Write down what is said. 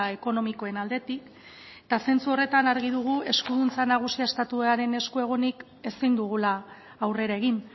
ekonomikoen aldetik eta zentzu horretan argi dugu eskuduntza nagusia estatuaren esku egonik ezin dugula aurrera egin